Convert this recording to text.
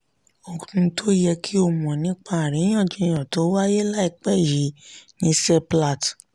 ohun tó yẹ kí o mọ̀ nípa àríyànjiyàn tó wáyé láìpẹ́ yìí ní seplat